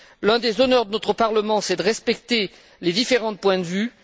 L'un des honneurs de notre Parlement est de respecter les différents points de vue.